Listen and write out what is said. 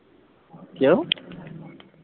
ਕਿਉਂ?